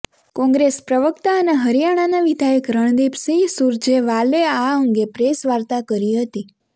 કોંગ્રેસ પ્રવક્તા અને હરિયાણાના વિધાયક રણદીપ સિંહ સૂરજેવાલે આ અંગે પ્રેસવાર્તા કરી હતી